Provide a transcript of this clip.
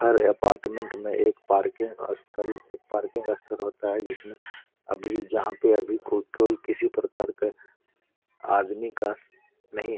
हर apartment में एक parking स्थल एक पार्किंग जिसमें अभी जहां के अधिक किसी प्रकार के आदमी का नहीं है।